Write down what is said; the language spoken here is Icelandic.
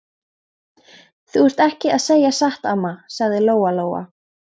Þú ert ekki að segja satt, amma, sagði Lóa Lóa.